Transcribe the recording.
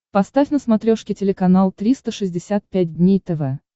поставь на смотрешке телеканал триста шестьдесят пять дней тв